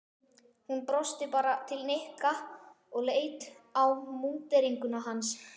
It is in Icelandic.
Hún brosti bara til Nikka og leit á múnderinguna hans.